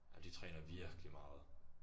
Ej men de træner virkelig meget